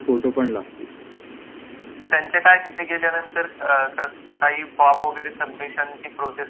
त्यांचे काय तिथे गेल्यानंतर फॉर्म वैगेरे सबमिशन ची प्रोसेस असेल ती पण आपल्याला पूर्ण करावि लागेल